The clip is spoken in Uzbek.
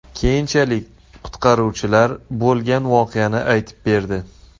Keyinchalik qutqaruvchilar bo‘lgan voqeani aytib berdi.